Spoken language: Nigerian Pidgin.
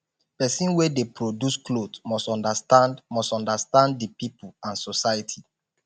persin wey de produce cloth must understand must understand di pipo and society